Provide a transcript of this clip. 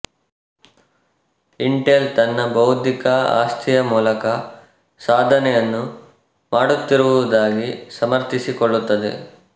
Intel ತನ್ನ ಬೌದ್ಧಿಕ ಆಸ್ತಿಯ ಮೂಲಕ ಸಾಧನೆಯನ್ನು ಮಾಡುತ್ತಿರುವುದಾಗಿ ಸಮರ್ಥಿಸಿಕೊಳ್ಳುತ್ತದೆ